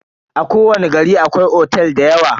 A kowani gari akwai otel dayawa.